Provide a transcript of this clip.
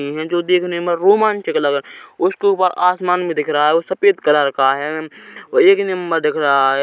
है जो देखने में रोमांचक लग रहे उसके ऊपर आसमान भी दिख रहा है वो सफ़ेद कलर का है एक नम्बर दिख रहा है।